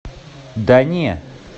да не